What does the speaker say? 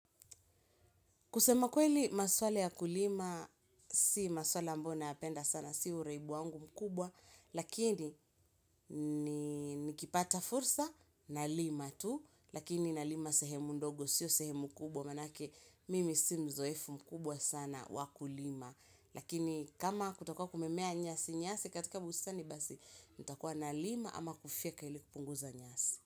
Kusema kweli, maswala ya kulima, si maswala ambao nayapenda sana, si uraibu wangu mkubwa, lakini nikipata fursa nalima tu, lakini na lima sehemu ndogo, siyo sehemu kubwa, manake mimi si mzoefu mkubwa sana wakulima. Lakini kama kutakuwa kumemea nyasi nyasi katika bustani basi nitakua nalima ama kufyeka ili kupunguza nyasi.